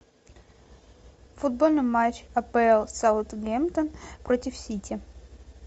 футбольный матч апл саутгемптон против сити